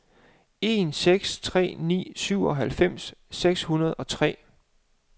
en seks tre ni syvoghalvfems seks hundrede og tre